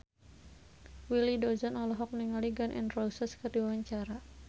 Willy Dozan olohok ningali Gun N Roses keur diwawancara